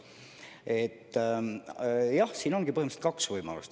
Jah, siin ongi põhiliselt kaks võimalust.